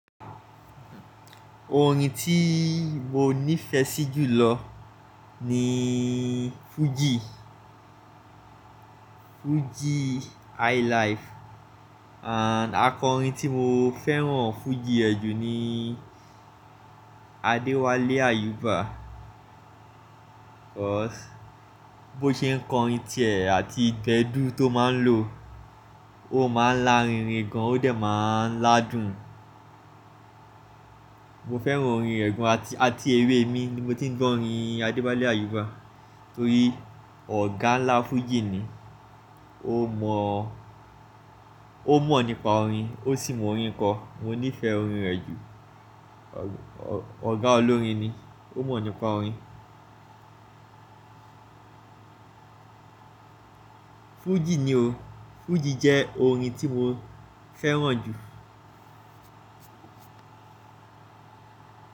Orin tí mo nífẹ̀ẹ́ sí jù lọ ni fújì, fújì highlife and akọrin tí mo fẹ́ràn fújì ẹ ju ni Adewale Ayuba. Cos bó ṣe ń kọrin tìẹ̀ àti gbẹ̀dú tó máa ń lo, ó máa ń lárinrin gan, ó dẹ̀ máa ń ládùn. Mo fẹ́ràn orin rẹ̀ gan àti, àti èwe ẹmi ni mo ti ń gbọ́ orin Adewale Ayuba torí ọ̀gá ńlá fújì ni. Ó mọ̀, ó mọ̀ nípa orin, ó sì mọ orin kọ. Mo nífẹ̀ẹ́ orin rẹ̀ jù. Ọ̀gá olórin ni, ó mọ̀ nípa orin. Fújì ni o, fújì jẹ́ orin tí mo fẹ́ràn jù.